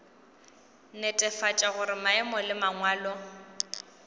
netefatša gore maemo le mangwalo